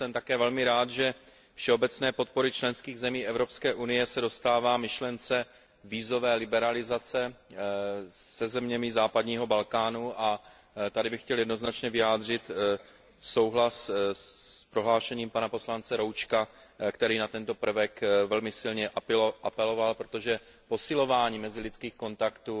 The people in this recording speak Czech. Jsem také velmi rád, že všeobecné podpory členských zemí Evropské unie se dostává myšlence vízové liberalizace se zeměmi západního Balkánu, a tady bych chtěl jednoznačně vyjádřit souhlas s prohlášením pana poslance Roučka, který na tento prvek velmi silně apeloval, protože posilování mezilidských kontaktů